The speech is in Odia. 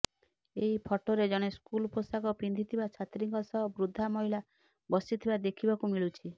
ଏହି ଫଟୋରେ ଜଣେ ସ୍କୁଲ ପୋଷାକ ପିନ୍ଧିଥିବା ଛାତ୍ରୀଙ୍କ ସହ ବୃଦ୍ଧା ମହିଳା ବସିଥିବା ଦେଖିବାକୁ ମିଳୁଛି